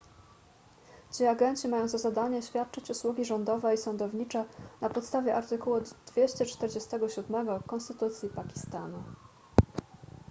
ci agenci mają za zadanie świadczyć usługi rządowe i sądownicze na podstawie artykułu 247 konstytucji pakistanu